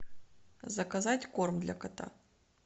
заказать корм для кота